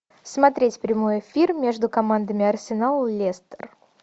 смотреть прямой эфир между командами арсенал лестер